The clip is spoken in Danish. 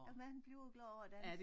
Man bliver glad af at danse